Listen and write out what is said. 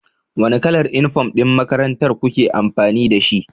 Wane kalar uniform ɗin makarantar ku ke amfani da shi?